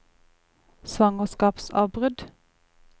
svangerskapsavbrudd